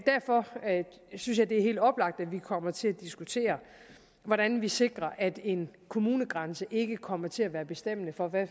derfor synes jeg det er helt oplagt at vi kommer til at diskutere hvordan vi sikrer at en kommunegrænse ikke kommer til at være bestemmende for hvad